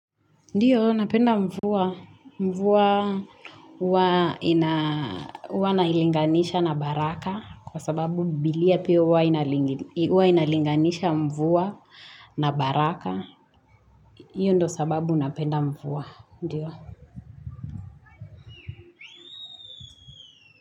Ndiyo, napenda mvua. Mvua huwa nailinganisha na baraka. Kwa sababu bibilia pia huwa inalinganisha mvua na baraka. Hiyo ndo sababu napenda mvua. Ndiyo.